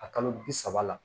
A kalo bi saba la